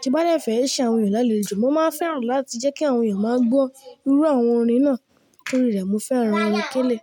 Ti bá de fẹ́ ṣe àwọn ènìyàn lálẹjo, mo máa fẹ́ràn láti jẹ́ kí àwọn ènìyàn máa gbọ́ irú àwọn orin náà nítorí rẹ̀ mo fẹ́ràn orin kélé.